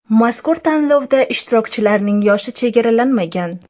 Mazkur tanlovda ishtirokchilarning yoshi chegaralanmagan.